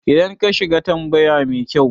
idan ka shiga ka tambayi mekyau